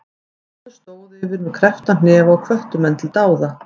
Konur stóðu yfir með kreppta hnefa og hvöttu menn til dáða.